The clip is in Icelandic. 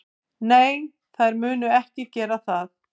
Nei, þær munu ekki gera það.